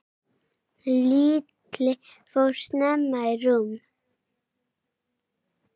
Lilla fór snemma í rúmið.